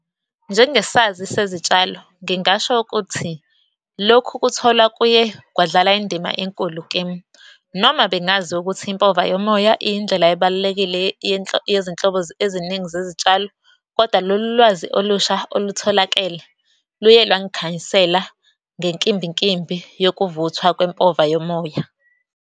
Njengesazi sezitshalo, ngingasho ukuthi lokhu kuthola kuye kwadlala indima enkulu kimi, noma bengazi ukuthi impova yomoya iyindlela ebalulekile yezinhlobo eziningi zezitshalo, kodwa lolu lwazi olusha olutholakele, luye lwangikhanyisela ngenkimbinkimbi yokuvuthwa kwempova yomoya.